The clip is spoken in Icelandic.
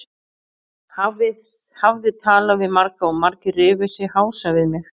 Hafði talað við marga og margir rifu sig hása við mig.